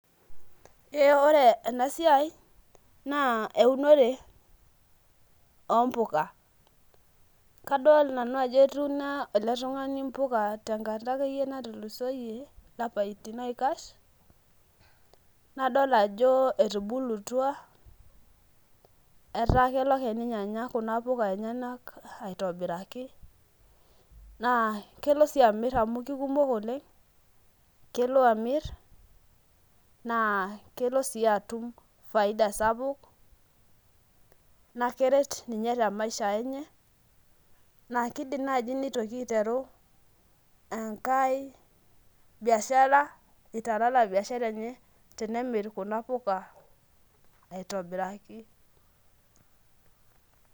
ee ore ena siai naa eunore oo mpuka, kadol nanu ajo etuuno ele tungani mpuka te nkata natulusoyie, toolapaitin oikash, nadol ajo etubulutua, etaa kelo ake ninye anya kuna puka enyenak aitobiraki, naa kelo sii amr amu kikumok oleng. kelo amir, naa kelo sii atum faida sapuk, naa keret ninye te maisha enye, naa kidim naaji nitoki aiteru enkae biahsra, italala biashara eney tenemir kuna puka aitobiraki.